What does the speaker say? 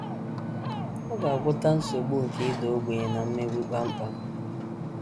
Ọ ga - agwọta nsogbu nke ịda ogbenye na mmegbu kpam kpam.